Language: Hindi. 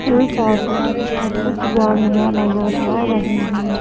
एक ऑटो और कुछ गाड़ियां नजर आ रही हैं।